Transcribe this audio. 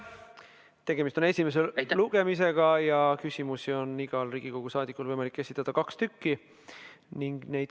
Tegemist on esimese lugemisega ja küsimusi on igal saadikul võimalik esitada kaks.